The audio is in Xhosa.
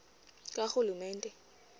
karhulumente